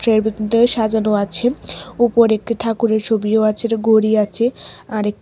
এর ভিতর দিয়ে সাজানো আছে উপরে একটি ঠাকুরের ছবিও আছে গড়ি আছে আর--